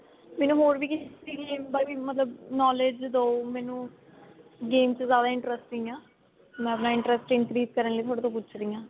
ਮੈਨੂੰ ਹੋਰ ਵੀ ਕਿਸੇ ਚੀਜ ਬਾਰੇ ਮਤਲਬ knowledge ਦੋ ਮੈਨੂੰ game ਚ ਜਿਆਦਾ interest ਨਹੀਂ ਏ ਮੈਂ ਆਪਣਾ interest increase se ਕਰਨ ਲਈ ਤੁਹਾਡੇ ਤੋਂ ਪੁੱਛ ਰਹੀ ਹਾਂ